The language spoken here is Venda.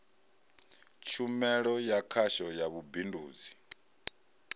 tshumelo ya khasho ya vhubindudzi